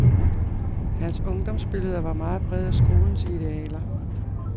Hans ungdomsbilleder var meget præget af skolens idealer.